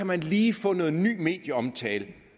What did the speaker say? man lige få noget ny medieomtale